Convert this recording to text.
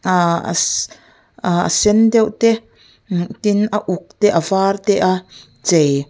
aaaa a sen deuh te tin a uk te a var te a chei--